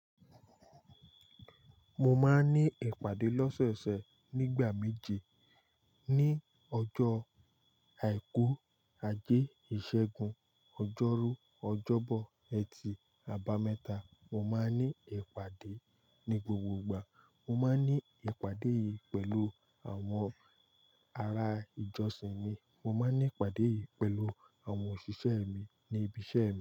Mo máa ń ní ìpàdé lọ́sẹ̀ẹsẹ̀ nígbà méje, ní ọjọ́ àìkú, àjẹ́, ìṣẹ́gun, ọjọ́rú, ọjọ́bọ̀, ẹ̀tì, àbámẹ́ta. Mo má ń ní ìpàdé ní gbogbo ìgbà. Mo má ń ní ìpàdé yìí pẹ̀lú àwọn ara ìjọsìn mi. Mo má ń ní ìpàdé yìí pẹ̀lú àwọn òṣìṣẹ́ mi ní ibi iṣẹ́ mi.